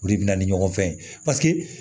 O de bɛ na ni ɲɔgɔn fɛn ye paseke